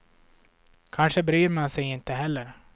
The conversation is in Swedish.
Kanske bryr man sig inte heller.